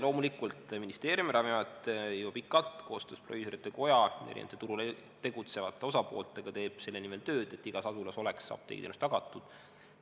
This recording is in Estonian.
Loomulikult, ministeerium ja Ravimiamet juba pikalt koostöös proviisorite koja ja erinevate turul tegutsevate osapooltega teevad selle nimel tööd, et igas asulas oleks apteegiteenus tagatud.